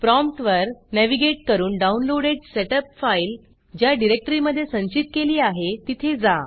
प्रॉम्प्टवर navigate करून downloaded setup file ज्या डिरेक्टरीमधे संचित केली आहे तिथे जा